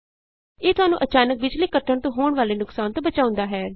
ਇਹ ਤੁਹਾਨੂੰ ਅਚਾਨਕ ਬਿਜ਼ਲੀ ਕੱਟ ਜਾਣ ਤੋਂ ਹੋਣ ਵਾਲੇ ਨੁਕਸਾਨ ਤੋਂ ਬਚਾਉਂਦਾ ਹੈ